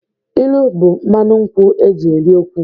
Ilu bụ mmanụ nkwụ e ji eri okwu.